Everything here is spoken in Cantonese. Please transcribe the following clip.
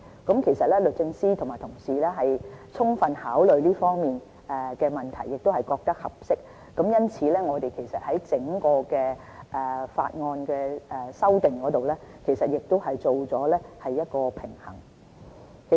不過，律政司和我們同事已充分考慮這方面的問題，也覺得現時的條文合適，而我們在整項法案修訂裏面，亦已作出了平衡。